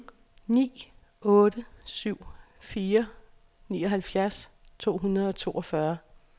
ni otte syv fire nioghalvfjerds to hundrede og toogfyrre